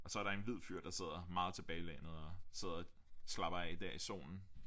Og så er der en hvid fyr der sidder meget tilbagelænet og sidder og slapper af dér i solen